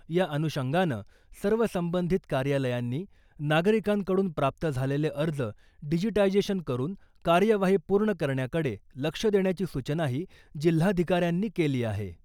या अनुषंगानं सर्व संबंधित कार्यालयांनी नागरिकांकडून प्राप्त झालेले अर्ज डिजिटायझेशन करून कार्यवाही पूर्ण करण्याकडे लक्ष देण्याची सूचनाही जिल्हाधिकाऱ्यांनी केली आहे .